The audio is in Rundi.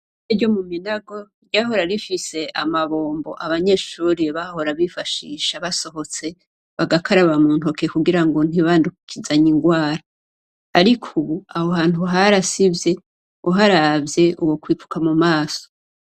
Ishure ryo mu Minago ryahora rifise amabombo abanyeshuri bahora bifashisha basohotse bagakaraba mu ntoke kugira ngo ntibandukizanye ingwara. Ariko ubu, aho hantu harasivye. Uharavye wokwifuka mu maso.